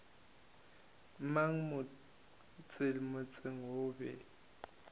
mang mo motseng o be